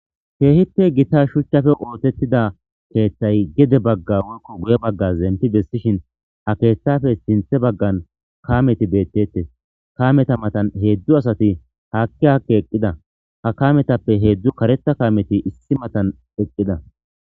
keehite gita shuchchafe ootettida keeththay gede bagga woykko guye bagga zemti bessishin ha keeththafe sinthe baggan kameti beettettes kameta matan heedzdzu asati haakki hakke eqqida ha kametappe heedzdzu kareta kaameti issi matan eqqida